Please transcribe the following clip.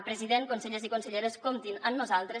president consellers i conselleres comptin amb nosaltres